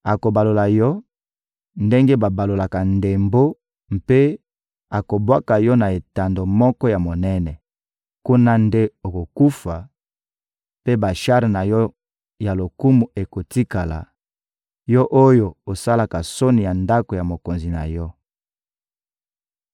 Akobalola yo ndenge babalolaka ndembo mpe akobwaka yo na etando moko ya monene. Kuna nde okokufa, mpe bashar na yo ya lokumu ekotikala, yo oyo osalaka soni ya ndako ya mokonzi na yo.